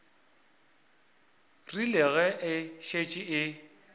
rile ge e šetše e